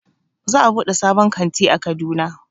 Za a buɗe sabon kanti a Kaduna